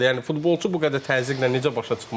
Yəni futbolçu bu qədər təzyiqlə necə başa çıxmalıdır?